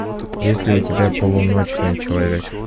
есть ли у тебя полуночный человек